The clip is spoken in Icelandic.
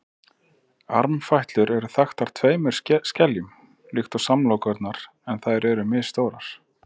armfætlur eru þaktar tveimur skeljum líkt og samlokurnar en þær eru misstórar